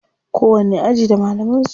Kowanni aji da malaman su.